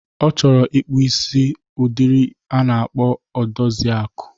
Ọ chọrọ ịkpụ udiri isi a na-akpọ Odoziakụ.